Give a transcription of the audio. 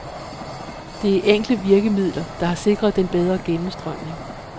Det er enkle virkemidler, der har sikret den bedre gennemstrømning.